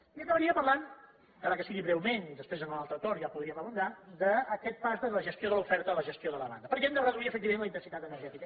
i acabaria parlant encara que sigui breument després en l’altre torn ja hi podríem abundar d’aquest pas de la gestió de l’oferta a la gestió de la demanda perquè hem de reduir efectivament la intensitat energètica